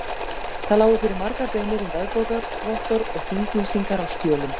Það lágu fyrir margar beiðnir um veðbókar- vottorð og þinglýs- ingar á skjölum.